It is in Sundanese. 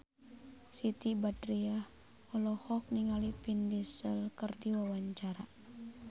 Siti Badriah olohok ningali Vin Diesel keur diwawancara